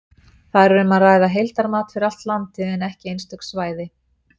Þar er um að ræða heildarmat fyrir allt landið, en ekki einstök svæði.